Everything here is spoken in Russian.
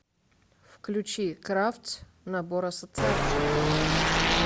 включи кравц набор ассоциаций